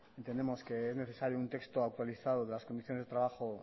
entendemos que es necesario un texto actualizado de las condiciones de trabajo